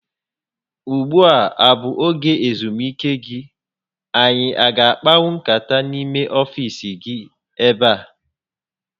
Ugbua a bụ oge ezumike gị? Anyị a ga akpanwu nkata n'ime ọfiisi gi ebe a?